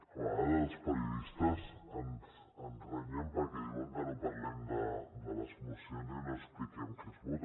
a vegades els periodistes ens renyen perquè diuen que no parlem de les mocions i no expliquem què es vota